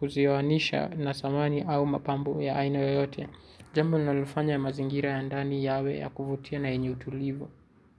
kuzioanisha na samani au mapambo ya aina yoyote. Jambo linalofanya mazingira ya ndani yawe ya kuvutia na yenye utulivu.